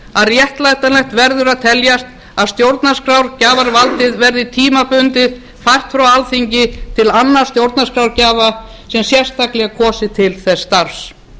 að réttlætanlegt verður að teljast að stjórnarskrárgjafarvaldið verði tímabundið fært frá alþingi til annars stjórnarskrárgjafa sem sérstaklega er kosinn til þess starfs